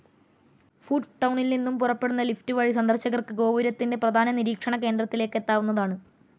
ഫൂട്ട്ടൗണിൽനിന്നും പുറപ്പെടുന്ന ലിഫ്റ്റ് വഴി സന്ദർശകർക്ക് ഗോപുരത്തിന്റെ പ്രധാന നിരീക്ഷണ കേന്ദ്രത്തിലേക്ക് എത്താവുന്നതാണ്.